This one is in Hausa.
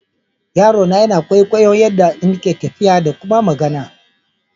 Yarona yana kwaikwayon yaɗɗa ina tafiya ɗa ƙuma magana.